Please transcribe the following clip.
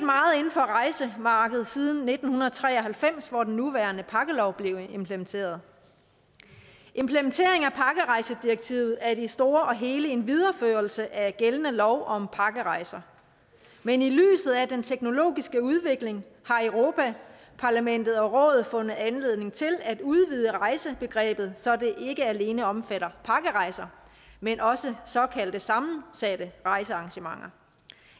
for rejsemarkedet siden nitten tre og halvfems hvor den nuværende pakkelov blev implementeret implementeringen af pakkerejsedirektivet er i det store hele en videreførelse af gældende lov om pakkerejser men i lyset af den teknologiske udvikling har europa parlamentet og rådet fundet anledning til at udvide rejsebegrebet så det ikke alene omfatter pakkerejser men også såkaldte sammensatte rejsearrangementer